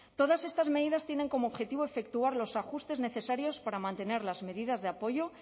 todas estas medidas tienen como objetivo efectuar los ajustes necesarios para mantener las medidas de apoyo